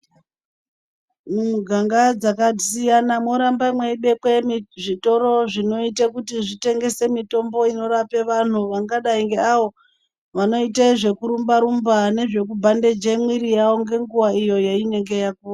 Mumiganga dzakasiyana morambe meidekwe zvitoro zvakaita kuti zvitengese mitombo inorapa vantu ingada ngeavo vanoite zvekurumba-rumba, nezvekubhandeje mwiri yavo nenguva iyo yeinenge yapuwa.